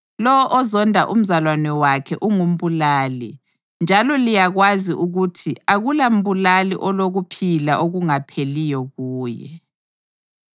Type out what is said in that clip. Lowo ozonda umzalwane wakhe ungumbulali, njalo liyakwazi ukuthi akulambulali olokuphila okungapheliyo kuye.